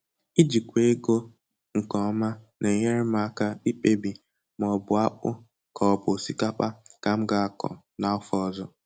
Ijịkwa ego nke ọma na-enyere m aka ikpebi ma ọ bụ akpụ ka ọ bụ osikapa ka m ga akọ n'afọ ọzọ